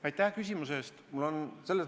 Aitäh küsimuse eest!